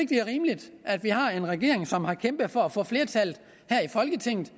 det er rimeligt at vi har en regering som har kæmpet for at få flertallet i folketinget